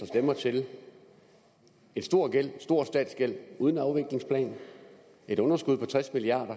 stemmer til en stor stor statsgæld uden afviklingsplan et underskud på tres milliard